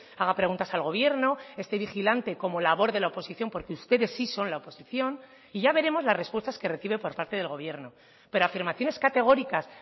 haga preguntas al gobierno esté vigilante como labor de la oposición porque ustedes sí son la oposición y ya veremos las respuestas que recibe por parte del gobierno pero afirmaciones categóricas